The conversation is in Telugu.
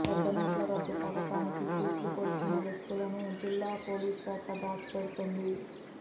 పెద్ద నోట్ల రద్దు పథకానికి తూట్లు పొడిచిన వ్యక్తులను జిల్లా పోలీసుశాఖ దాచి పెడుతుంది